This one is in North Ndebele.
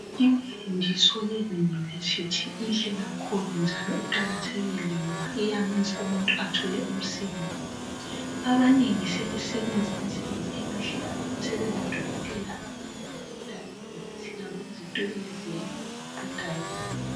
Imfundiso yeYunivesithi inhle kakhulu njalo iqakathekile ngoba iyamenza umuntu athole umsebenzi abanengi sebesebenza imisebenzi emihle abanye sebengodokotela abanye babhoda emawofisini abo ngezitulo leziyana ezibhodayo.